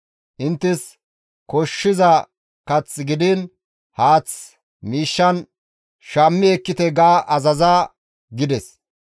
Inttes koshshiza kath gidiin haath miishshan shammi ekkite› ga azaza» gides.